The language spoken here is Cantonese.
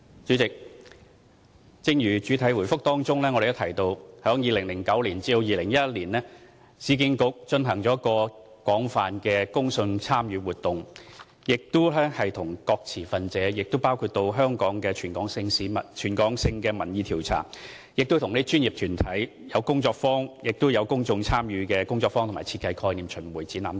主席，正如主體答覆提到 ，2009 年至2011年，市建局進行了廣泛的公眾參與活動，與各持份者溝通，包括進行全港性民意調查，舉辦專業團體工作坊，供公眾參與的工作坊和設計概念巡回展覽等。